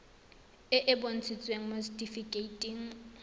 e e bontshitsweng mo setifikeiting